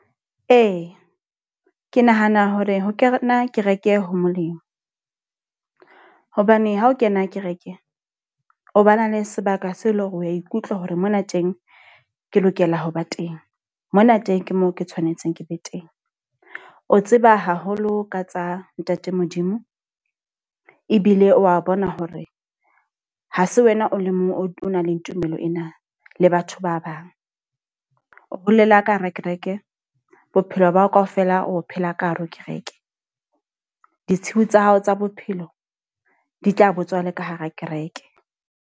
Ee, ke nahana hore ho kena kereke ho molemo. Hobane ha o kena kereke, o ba na le sebaka seo eleng hore o ya ikutlwa hore mona teng ke lokela ho ba teng. Mona teng ke moo ke tshwanetse ke be teng. O tseba haholo ka tsa ntate Modimo. Ebile wa bona hore ha se wena o le mong o na le tumelo ena le batho ba bang. O bolela ka hara kereke, bophelo bao ka ofela o phela ka hare ho kereke. Ditshiu tsa hao tsa bophelo di tla botswa le ka hara kereke.